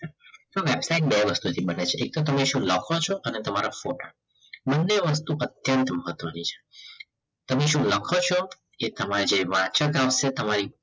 તો વેબસાઈટ બે વસ્તુથી બને છે એક તો સામે શું તમે લખો છો અને તમારા photo બંને વસ્તુ અત્યંત ઉપાત્વની છે તમે શું લખો છો કે તમારે જે તમારી